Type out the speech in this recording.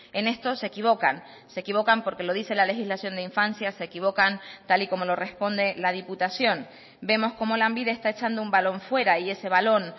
en esto se equivocan se equivocan porque lo dice la legislación de infancia se equivocan tal y como lo responde la diputación vemos como lanbide está echando un balón fuera y ese balón